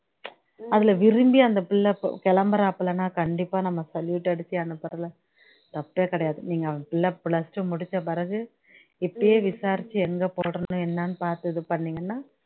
அதுல விரும்பி அந்த பிள்ளை இப்போ கெளம்புறாப்லனா கண்டிப்பா நம்ம salute அடிச்சு அனுப்புறதுல தப்பே கிடையாது நீங்க அவன் பிள்ளை plus two முடிச்ச பிறகு இப்பையே விசாரிச்சு எங்க போடணும் என்னன்னு பாத்து இது பண்ணீங்கன்னா